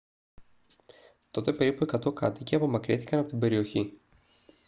τότε περίπου 100 κάτοικοι απομακρύνθηκαν από την περιοχή